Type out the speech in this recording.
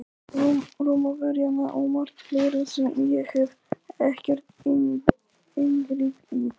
Rómverjana og margt fleira sem ég hef ekkert inngrip í.